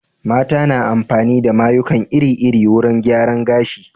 Mata na yin amfani da mayuka iri-iri wurin gyaran gashi.